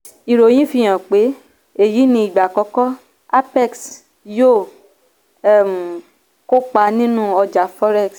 ìròyìn fi hàn pé èyí ni ìgbà àkọ́kọ́ apex yóò um kópa nínú ọjà forex.